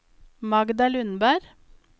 Magda Lundberg